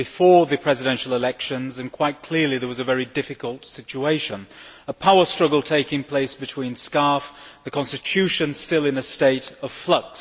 It was before the presidential elections and quite clearly there was a very difficult situation a power struggle taking place with SCAF, the constitution still in a state of flux.